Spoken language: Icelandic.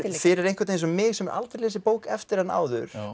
fyrir einhvern eins og mig sem hef aldrei lesið bók eftir hana áður